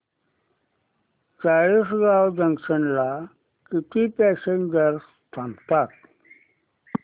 Chalisgaon junction ला किती passengers थांबतात